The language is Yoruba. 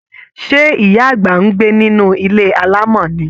Ṣé, ìyá àgbà ń gbé nínú ilé alamo ni?